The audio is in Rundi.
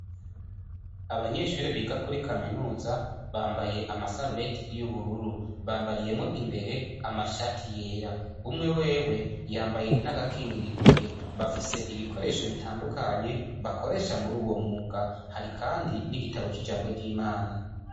Abanyeshure biga kuri kaminuza, bambaye amasarubeti y'ubururu. Bambariyemwo imbere amashati yera. Umwe wewe yambaye n'agakingira intoke. Bafise ibikoresho bitandukanye bakoresha muri uwo mwuga. Hari kandi n'igitabo c'ijambo ry'Imana.